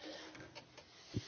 Merci de la question.